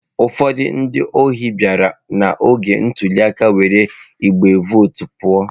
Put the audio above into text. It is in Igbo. Ụfọdụ ndị ohi bịara n'oge ntuli aka were igbe vootu pụọ.